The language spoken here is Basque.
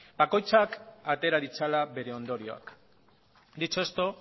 bakoitzak atera ditzala bere ondorioak dicho esto